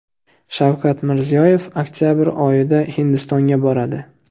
Shavkat Mirziyoyev oktabr oyida Hindistonga boradi.